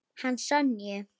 Hana Sonju?